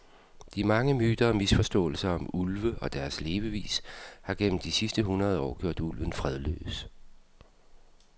De mange myter og misforståelser om ulve og deres levevis har gennem de sidste hundrede år gjort ulven fredløs.